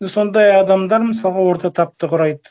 сондай адамдар мысалға орта тапты құрайды